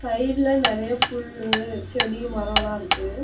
சைடுல நெறைய புல்லு செடி மரோலா இருக்கு.